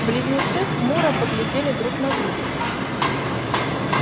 близнецы хмуро поглядели друг на друга